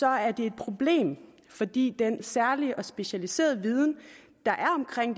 er det et problem fordi den særlige og specialiserede viden der